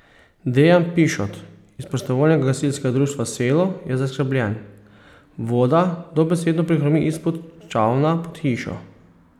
Dejan Pišot iz Prostovoljnega gasilskega društva Selo je zaskrbljen: "Voda dobesedno prihrumi izpod Čavna pod hišo.